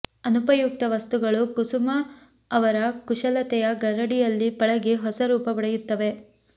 ಅನುಪಯುಕ್ತ ವಸ್ತುಗಳು ಕುಸುಮ ಅವರ ಕುಶಲತೆಯ ಗರಡಿಯಲ್ಲಿ ಪಳಗಿ ಹೊಸ ರೂಪ ಪಡೆಯುತ್ತವೆ